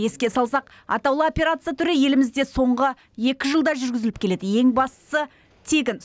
еске салсақ атаулы операция түрі елімізде соңғы екі жылда жүргізіліп келеді ең бастысы тегін